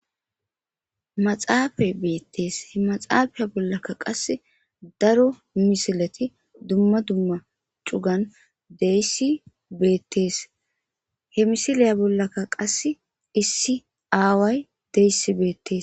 maxaafay beettees he maxaafaya bollaka qase daro misilati dumma dumma cugan deyssi beettees he misiliya bollaka qasse issi aaway deyssi beettees